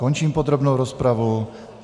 Končím podrobnou rozpravu.